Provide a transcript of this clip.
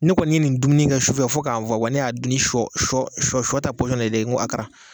Ne kɔni ye nin dumuni kɛ sufɛ fo k'a n fɔ. wa ne y'a dun ni shɔ shɔ shɔ shɔ ta de ye ko hakara.